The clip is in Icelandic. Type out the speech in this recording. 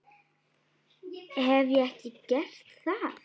Hef ég ekki gert það?